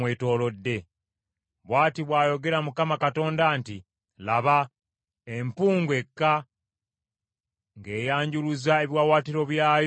Bw’ati bw’ayogera Mukama Katonda nti: “Laba! Empungu ekka, ng’eyanjuluza ebiwaawaatiro byayo ku Mowaabu.